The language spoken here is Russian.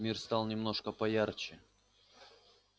мир стал немножко поярче